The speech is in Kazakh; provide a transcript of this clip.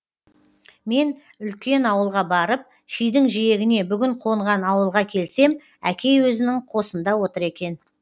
мен үлкен ауылға барып шидің жиегіне бүгін қонған ауылға келсем әкей өзінің қосында отыр екен